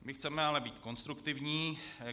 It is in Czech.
My chceme ale být konstruktivní.